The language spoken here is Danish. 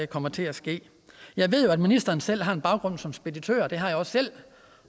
kommer til at ske jeg ved at ministeren selv har en baggrund som speditør det har jeg også selv